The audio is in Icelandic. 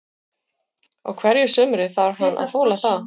Á hverju sumri þarf hann að þola það.